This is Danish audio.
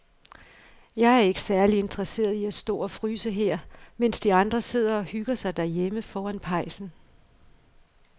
Jeg er ikke særlig interesseret i at stå og fryse her, mens de andre sidder og hygger sig derhjemme foran pejsen.